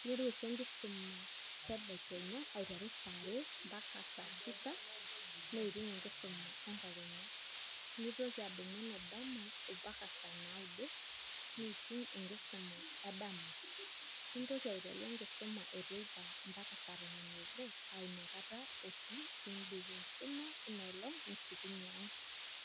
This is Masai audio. Kiteru oshi enkisuma tedekenya aiteru saa are mbaka saa sita niting' enkisoma etedekenya. Nitoki adumu enedama mpaka saa naudo niting' enkisuma edama, nitoki aiteru enkisuma eteipa mbaka saa tomon obo na inakata oshi indip enkisuma inaolong' nishukunye ang'.